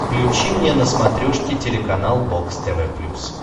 включи мне на смотрешке телеканал бокс тв плюс